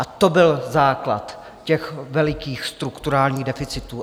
A to byl základ těch velikých strukturálních deficitů.